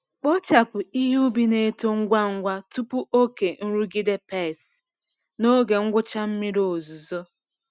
Kpochapụ ihe ubi na-eto ngwa ngwa tupu oke nrụgide pests n’oge ngwụcha mmiri ozuzo.